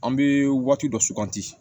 An bɛ waati dɔ suganti